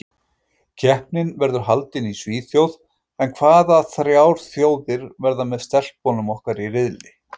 Keppnin verður haldin í Svíþjóð en hvaða þrjár þjóðir verða með stelpunum okkar í riðli?